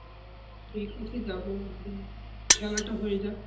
ঠিক আছে যাবো একদিন, খেলাটা হয়ে যাক